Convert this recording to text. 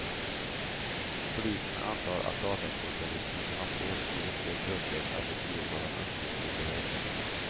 Polisen antar att dataspecialisten haft åtskilligt fler kunder än det tiotal han uppgett vid förhör.